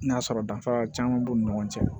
N'a sɔrɔ danfara caman b'u ni ɲɔgɔn cɛ